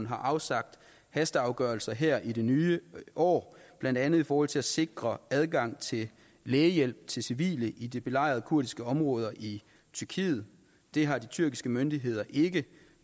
har afsagt hasteafgørelser her i det nye år blandt andet i forhold til at sikre adgang til lægehjælp til civile i de belejrede kurdiske områder i tyrkiet det har de tyrkiske myndigheder